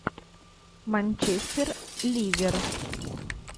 манчестер ливер